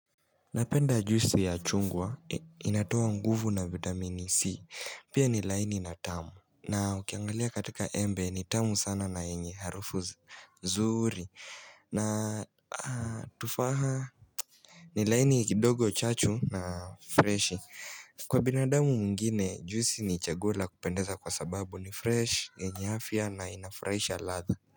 Napenda juisi ya chungwa, inatoa nguvu na vitamini C, pia ni laini na tamu na ukiangalia katika embe ni tamu sana na enye harufu zuri ni laini kidogo chachu na freshi, kwa binadamu mwengine, juisi ni chaguo kupendeza kwa sababu ni fresh, yenye afya na inafraisha ladha.